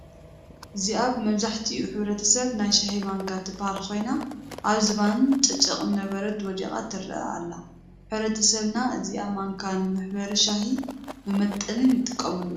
እዚኣ ብመብዛሕትኡ ሕብረተሰብ ናይ ሻሂ ማንካ ትበሃል ኮይና አብ ዝባን ጨጨቅ እምነበረድ ወዲቃ ትረአ አላ ፡፡ ሕብረተሰብና እዛ ማንካ ንመሕበሪ ሻሂን መመጠንን ይጥቀመላ፡፡